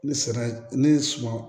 Ne sera ne ye suma